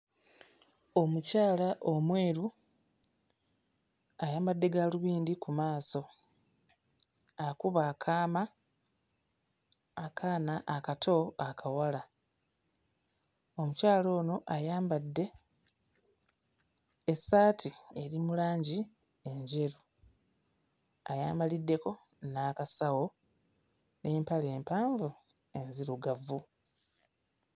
Omukyala omweru ayambadde gaalubindi ku maaso, akuba akaama akaana akato akawala, omukyala ono ayambadde essaati eri mu langi enjeru, ayambaliddeko n'akasawo n'empale empanvu enzirugavu.